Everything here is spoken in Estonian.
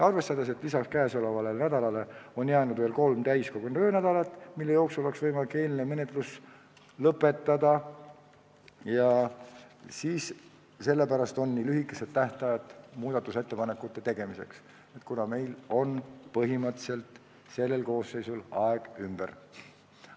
Arvestades, et lisaks käesolevale nädalale on jäänud veel kolm täiskogu töönädalat, mille jooksul oleks võimalik eelnõu menetlus lõpetada, ongi nii lühike tähtaeg muudatusettepanekute tegemiseks, kuna põhimõtteliselt on selle koosseisu aeg ümber.